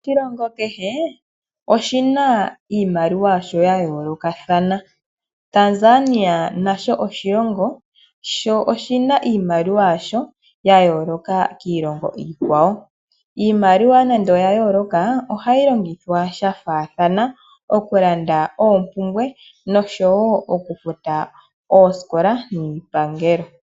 Oshilongo kehe oshina iimaliwa yasho yayoolokathana. Tanzania nasho oshilongo sho oshina iimaliwa yasho yayooloka kiilongo iikwawo. Iimaliwa nande oya yooloka ohayi longithwa shafaathana okulanda oompumbwe nosho woo oku futa oosikola niipangelo.